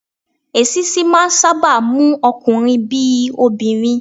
Èṣíṣí máà ń sáábà mú ọkunrin bí i obìnrin.